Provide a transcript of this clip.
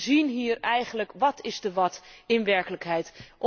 We zien hier eigenlijk What is the What in werkelijkheid.